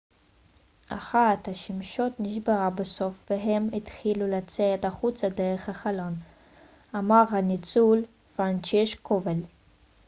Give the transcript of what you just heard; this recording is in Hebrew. אחת השמשות נשברה בסוף והם התחילו לצאת החוצה דרך החלון אמר הניצול פרנצ'ישק קובאל